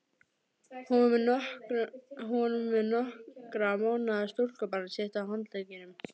Hún var með nokkurra mánaða stúlkubarn sitt á handleggnum.